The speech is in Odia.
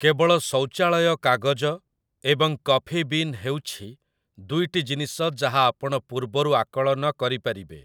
କେବଳ ଶୌଚାଳୟ କାଗଜ ଏବଂ କଫି ବିନ୍ ହେଉଛି ଦୁଇଟି ଜିନିଷ ଯାହା ଆପଣ ପୂର୍ବରୁ ଆକଳନ କରିପାରିବେ ।